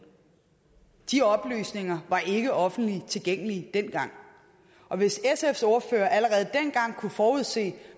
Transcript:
de oplysninger var ikke offentligt tilgængelige dengang hvis sfs ordfører allerede dengang kunne forudse